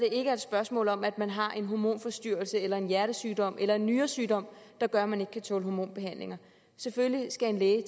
er et spørgsmål om at man har en hormonforstyrrelse eller en hjertesygdom eller en nyresygdom der gør at man ikke kan tåle hormonbehandlinger selvfølgelig skal en læge